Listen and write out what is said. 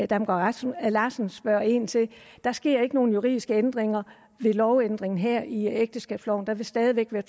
damgaard larsen spørger ind til der sker ikke nogen juridiske ændringer ved lovændringen her i ægteskabsloven der vil stadig væk være